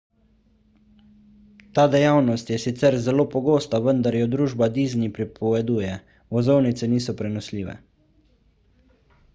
ta dejavnost je sicer zelo pogosta vendar jo družba disney prepoveduje vozovnice niso prenosljive